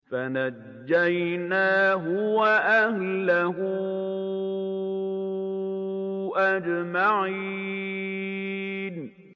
فَنَجَّيْنَاهُ وَأَهْلَهُ أَجْمَعِينَ